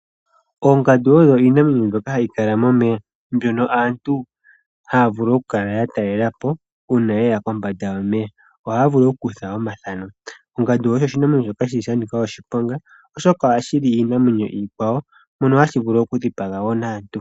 Oongandu odho iinamwenyo mbyoka hayi kala momeya, mbyono aantu haya vulu oku kala yatelelapo uuna ye ya kombanda yomeya, ohaya vulu oku kutha omathano. Ongandu osho oshinamwenyo shoka shili shanika oshiponga oshoka ohashi li iinamwenyo iikwawo, mono hashi vulu woo okudhipaga naantu.